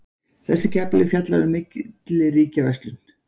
Þessi kafli fjallar um milliríkjaverslun.